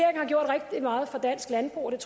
meget for dansk landbrug og jeg